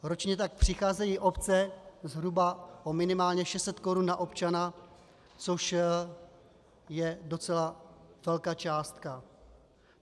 Ročně tak přicházejí obce zhruba minimálně o 600 korun na občana, což je docela velká částka.